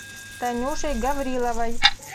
танюшей гавриловой